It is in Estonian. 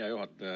Hea juhataja!